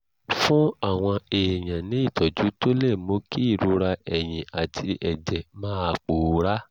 fún àwọn èèyàn ní ìtọ́jú tó lè mú kí ìrora ẹ̀yìn àti ẹ̀jẹ̀ máa pòórá